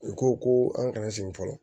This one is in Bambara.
U ko ko an kana sigi fɔlɔ